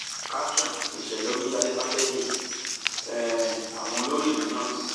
caption ìṣẹlẹ omíyalé pàtẹgí um àwọn olórí ìlú náà